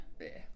Ja